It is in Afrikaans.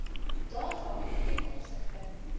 data ten opsigte